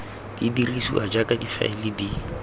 di dirisiwa jaaka difaele di